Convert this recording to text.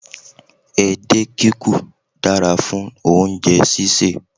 Edé kikù dára fún oúnjẹ sísè